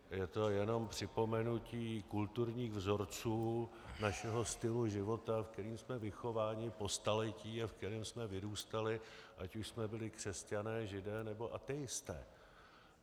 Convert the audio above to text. Je to jenom připomenutí kulturních vzorců našeho stylu života, v kterém jsme vychováváni po staletí a v kterém jsme vyrůstali, ať už jsme byli křesťané, židé, nebo ateisté.